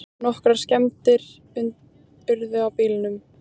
Nokkrar skemmdir urðu á bílunum